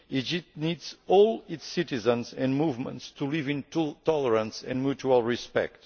Egypt needs all its citizens and movements to live in tolerance and mutual respect.